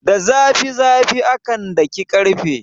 Da zafi zafi akan daki ƙarfe.